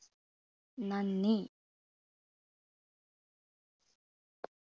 നന്ദി